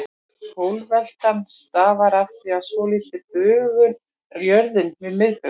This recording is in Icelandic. Pólveltan stafar af því að svolítil bunga er á jörðinni við miðbaug.